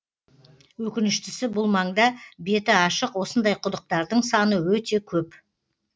өкініштісі бұл маңда беті ашық осындай құдықтардың саны өте көп